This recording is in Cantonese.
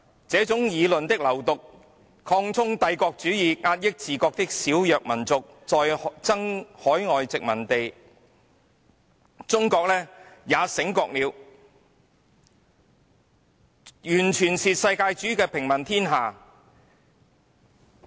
這種議論的流毒，擴充帝國主義，壓抑自國的小弱民族，在爭海外殖民地......完全是世界主義的平民天下......